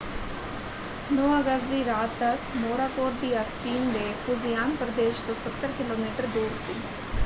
9 ਅਗਸਤ ਦੀ ਰਾਤ ਤੱਕ ਮੋਰਾਕੋਟ ਦੀ ਅੱਖ ਚੀਨ ਦੇ ਫੂਜ਼ੀਆਨ ਪ੍ਰਦੇਸ਼ ਤੋਂ ਸੱਤਰ ਕਿਲੋਮੀਟਰ ਦੂਰ ਸੀ।